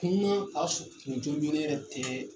Kuma ka sun kun jɔnjɔnnen yɛrɛ tɛ